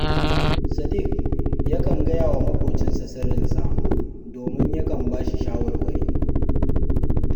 Sadik yakan gaya wa maƙocinsa sirrinsa, domin yakan ba shi shawarwari